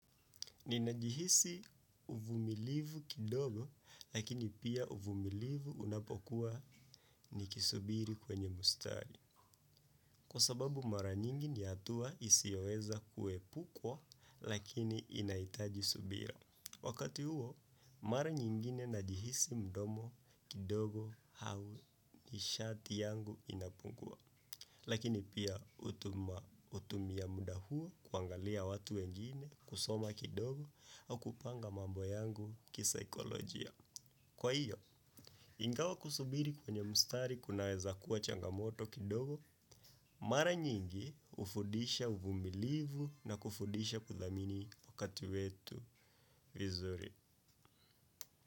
Ninajihisi uvumilivu kidogo lakini pia uvumilivu unapokuwa nikisubiri kwenye mstari. Kwa sababu mara nyingi ni hatua isioweza kuepukwa lakini inaitaji subira. Wakati huo, mara nyingine najihisi mdomo kidogo hau nishati yangu inapungua. Lakini pia hutumia muda huu kuangalia watu wengine kusoma kidogo au kupanga mambo yangu kisaikolojia. Kwa hiyo, ingawa kusubiri kwenye mstari kunaweza kuwa changamoto kidogo, mara nyingi hufudisha uvumilivu na kufudisha kuthamini wakati wetu vizuri.